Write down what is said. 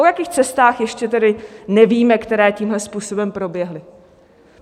O jakých cestách ještě tedy nevíme, které tímhle způsobem proběhly?